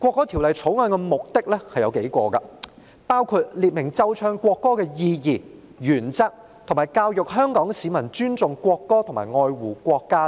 《條例草案》有數個目的，包括列明奏唱國歌的意義、原則，以及教育香港市民尊重國歌和愛護國家等。